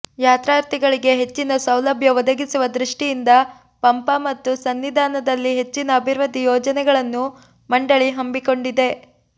ಯಾತ್ರಾರ್ಥಿಗಳಿಗೆ ಹೆಚ್ಚಿನ ಸೌಲಭ್ಯ ಒದಗಿಸುವ ದೃಷ್ಟಿಯಿಂದ ಪಂಪಾ ಮತ್ತು ಸನ್ನಿಧಾನದಲ್ಲಿ ಹೆಚ್ಚಿನ ಅಭಿವೃದ್ಧಿ ಯೋಜನೆಗಳನ್ನು ಮಂಡಳಿ ಹಮ್ಮಿಕೊಂಡಿದೆ